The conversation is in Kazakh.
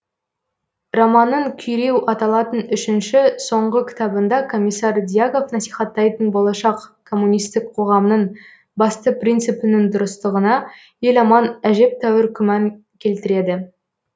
романның күйреу аталатын үшінші соңғы кітабында комиссар дьяков насихаттайтын болашақ коммунистік қоғамның басты принципінің дұрыстығына еламан әжептәуір күмән келтіреді